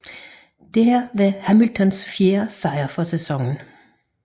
Dette var Hamiltons fjerde sejt for sæsonen